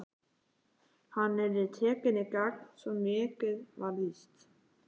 Hann yrði tekinn í gegn, svo mikið var víst.